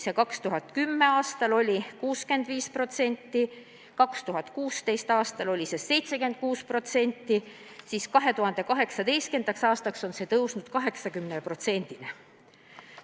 2010. aastal oli see 65%, 2016. aastal 76% ja 2018. aastaks oli tõusnud 80%-ni.